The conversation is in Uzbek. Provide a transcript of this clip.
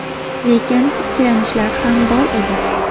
Lekin ikkilanishlar ham bor edi.